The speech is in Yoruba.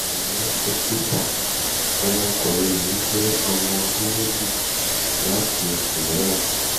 ẹ ǹlẹ́ dọ́kítà ọmọkùnrin mi mi jẹ́ ọmọ ọdún méjì àti oṣù mẹ́wàá